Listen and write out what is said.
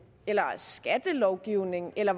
skattelovgivning eller